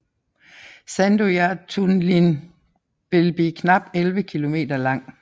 Sandoyartunnilin vil blive knap 11 km lang